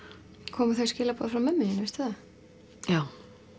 komu þau skilaboð frá mömmu þinni veistu það já